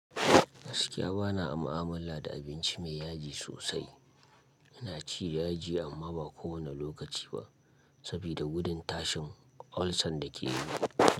Gaskiya bana mu'amala da abinci mai yaji sosai. Ina ci da yaji amma ba kowane lokaci ba saboda gudun tashin ulcer da ke yi.